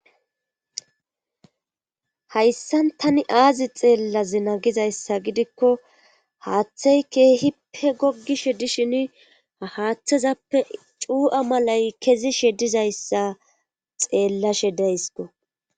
Hayssan tani aazi xeellazina gizayssa gidikko haaththay keehipe gogishe dishin haaththazappe cuu'a malay kezi she dizayssa xeellashe deysiko.